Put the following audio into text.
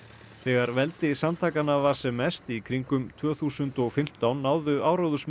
þegar veldi samtakanna var sem mest í kringum tvö þúsund og fimmtán náðu